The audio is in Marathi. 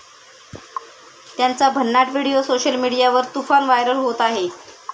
त्यांचा भन्नट व्हिडीओ सोशल मीडियावर तुफान व्हायरल होत आहे.